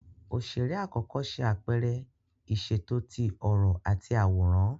Oṣere akọkọ ṣe apẹrẹ iṣeto ti ọrọ ati awọn aworan.